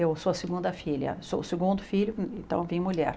Eu sou a segunda filha, sou o segundo filho, então vim mulher.